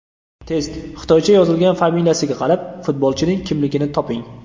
Test: Xitoycha yozilgan familiyasiga qarab, futbolchining kimligini toping!.